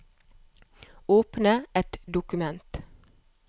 Åpne et dokument